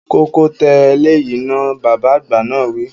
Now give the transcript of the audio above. Kọ́kọ́ tẹ eléyìí náà, Bàbá àgbà náà wi